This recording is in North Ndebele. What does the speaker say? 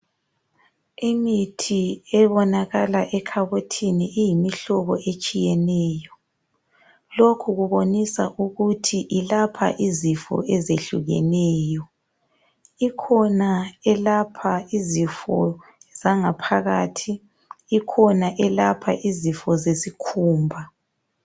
Imithi ebonakala ekhabothini iyimihlobo etshiyeneyo . Lokhu kubonisa ukuthi yelapha izifo ezehlukeneyo . Ikhona eyelapha izifo eziphakathi, leyelapha izifo ezisesikhumbeni.